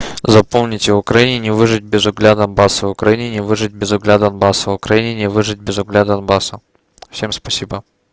запомните в украине выжить без угля донбасса в украине выжить без угля донбасса в украине выжить без угля донбасса всем спасибо